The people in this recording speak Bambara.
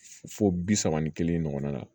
Fo bi saba ni kelen ɲɔgɔn na